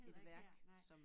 Et værk som